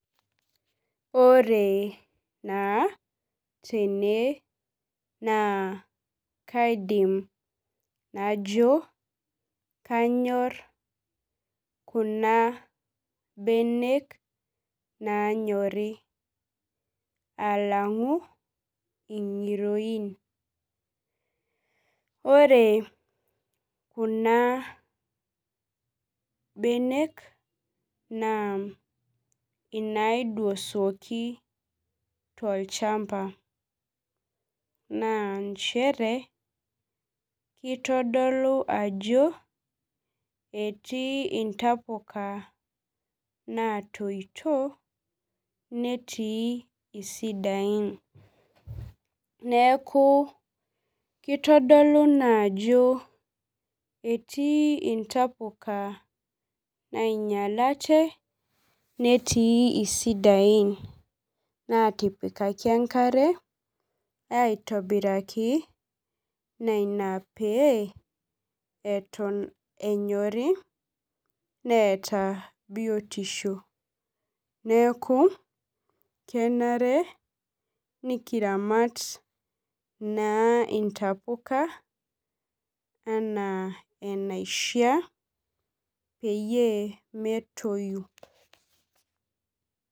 Ore naa tene na kaidim najo kanyor kuna benek nanyori alangu ingiroin ore kuna benek na inaidosuoki tolchamba na nchere kitadolu ajo etii ntapuka natoito netii sidain neaku kitodolu qjo etii ntapuka nainyalate netii sidain natipikaki enkare aitobiraki na ina peton enyori neeta biotisho neaku kebare nikiramat intapuka pemetoyu.